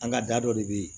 An ka da dɔ de bɛ yen